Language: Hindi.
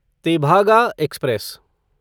तेभागा एक्सप्रेस